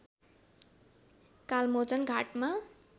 कालमोचन घाटमा